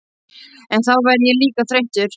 En þá verð ég líka þreyttur.